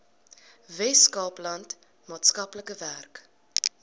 weskaapland maatskaplike werk